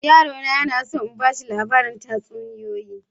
Yaro na yana so in ba ta labarin tatsuniyoyi.